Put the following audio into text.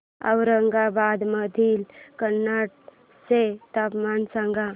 औरंगाबाद मधील कन्नड चे तापमान सांग